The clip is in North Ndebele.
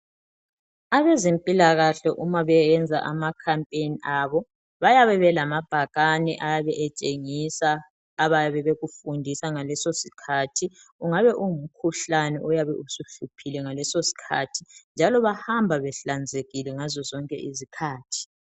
Abezempilakahle uma beyenza ama campaign abo bayabe belamabhakane ayabe etshengisa abayabe bekufundisa ngaleso sikhathi Kungabe ungumkhuhlane oyabe usuhluphile ngaleso sikhathi njalo bahamba behlanzekile ngaszozonke izikhathi